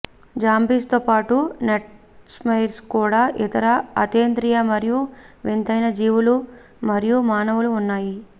zombies పాటు nightmares కూడా ఇతర అతీంద్రియ మరియు వింతైన జీవులు మరియు మానవులు ఉన్నాయి